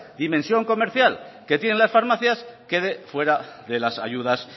dimensión comercial que tienen las farmacias quede fuera de las ayudas